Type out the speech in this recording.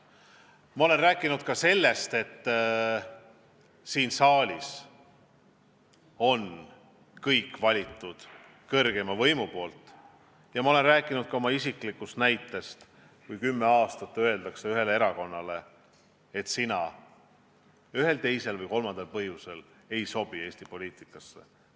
Ma olen rääkinud ka sellest, et siin saalis on kõik kõrgeima võimu valitud, ja ma olen rääkinud ka oma isiklikust kogemusest, kui kümme aastat on ühele erakonnale öeldud, et sina ühel, teisel või kolmandal põhjusel ei sobi Eesti poliitikasse.